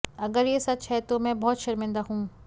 अगर ये सच है तो मैं बहुत शर्मिदा हूं